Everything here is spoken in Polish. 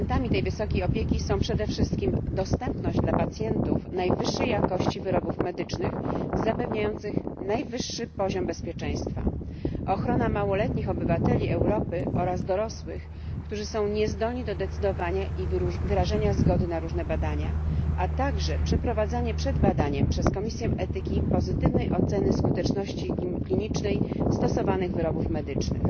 Elementami tej wysokiej jakości opieki są przede wszystkim dostęp pacjentów do najwyższej jakości wyrobów medycznych zapewniających najwyższy poziom bezpieczeństwa, ochrona niepełnoletnich obywateli Europy oraz dorosłych, którzy są niezdolni do decydowania i wyrażania zgody na różne badania, a także przeprowadzanie przed badaniem przez komisję etyki pozytywnej oceny skuteczności klinicznej stosowanych wyrobów medycznych.